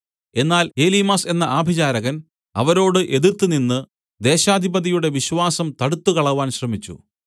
എന്നാൽ എലീമാസ് എന്ന ആഭിചാരകൻ അവന്റെ പേരിന്റെ അർത്ഥം ഇതാണ് അവരോട് എതിർത്തുനിന്ന് ദേശാധിപതിയുടെ വിശ്വാസം തടുത്തുകളവാൻ ശ്രമിച്ചു